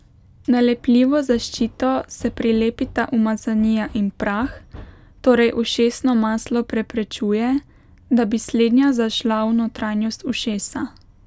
Na lepljivo zaščito se prilepita umazanija in prah, torej ušesno maslo preprečuje, da bi slednja zašla v notranjost ušesa.